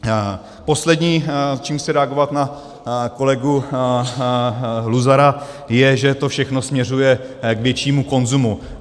Poslední, čím chci reagovat na kolegu Luzara, je, že to všechno směřuje k většímu konzumu.